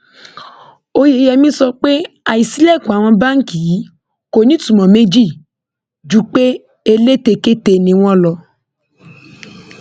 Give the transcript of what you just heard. oyeyèmí sọ pé àìsílèkùn àwọn báǹkì yìí kò nítumọ méjì ju pé elétekéte ni wọn lọ